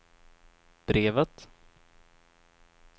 brevet